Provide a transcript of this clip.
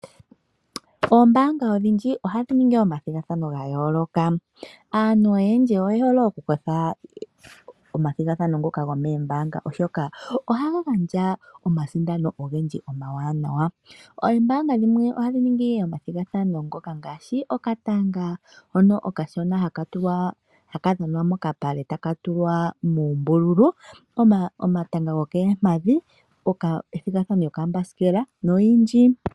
Oombaanga odhindji ohadhi ningi omathigathano ga yooloka, aantu oyendji oye hole oku kutha ombinga momathigathano ngoka gomoombaanga, oshoka ohaya gandja omasindano ogendji omawanawa. Oombaanga dhimwe ohadhi ningi omathigathano ngoka ngaashi okatanga hono okashona haka dhanwa mokapale taka tulwa muumbululu, omatanga gokoompadhi, omathigathano goombasikela nomathigathano ogendji.